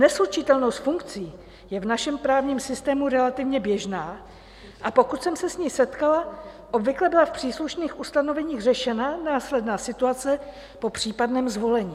Neslučitelnost funkcí je v našem právním systému relativně běžná, a pokud jsem se s ní setkala, obvykle byla v příslušných ustanoveních řešena následná situace po případném zvolení.